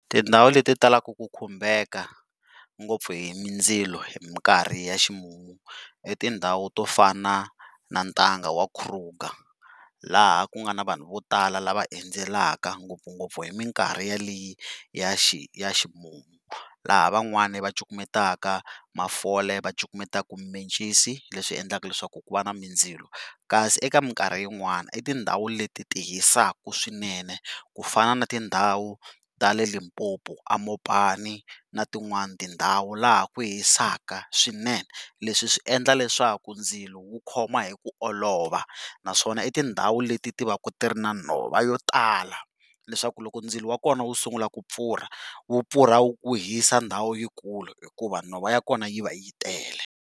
Tindhawu leti talaka ku khumbeka ngopfu hi mindzilo hi mikarhi ya ximumu i tindhawu to fana na ntanga wa Kruger laha ku nga na vanhu vo tala lava endzelaka ngopfungopfu hi mikarhi ya xi ya ximumu laha van'wani va cukumetaka mafole va cukumetaka mimencisi leswi endlaka leswaku ku va na mindzilo kasi eka mikarhi yin'wana i tindhawu leti ti hisaka swinene ku fana na tindhawu ta le Limpopo eMopani na tin'wana tindhawu laha ku hisaka swinene, leswi swi endla leswaku ndzilo wa khoma hi ku olova naswona i tindhawu leti ti va ka ti ri na nhova vo tala leswaku loko ndzilo wa kona wu sungula ku pfurha wu pfurha wu hisa ndhawu yikulu hikuva nhova ya kona yi va yi tele.